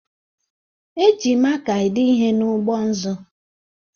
E ji maka ede ihe n'ụgbọ nzụ